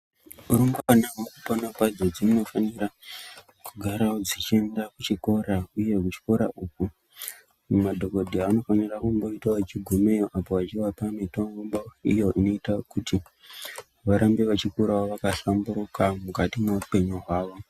Rumbwana mukupona kwadzo dzinofanira kugarawo dzichienda kuchikora uye kuchikora uku madhokodheya anofanira kumboitawo achigumeyo apa achivapa mitombo iyo inoitawo kuti varambe vachikura vakahlamburuka mukati mweupenyu hwavo.